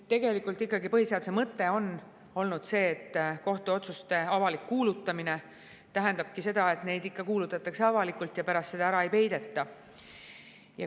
Tegelikult ikkagi põhiseaduse mõte on olnud see, et kohtuotsuste avalik kuulutamine tähendabki seda, et need ikka kuulutatakse avalikult ja pärast seda neid ära ei peideta.